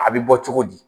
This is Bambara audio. A bɛ bɔ cogo di